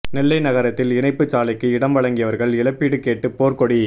நெல்லை நகரத்தில் இணைப்பு சாலைக்கு இடம் வழங்கியவா்கள் இழப்பீடு கேட்டு போா்க்கொடி